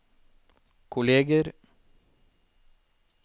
kolleger